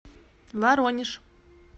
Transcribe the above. воронеж